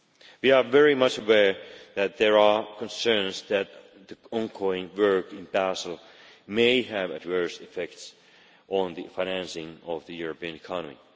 We are very much aware that there are concerns that the ongoing work in Basel may have adverse effects on the financing of the European economy.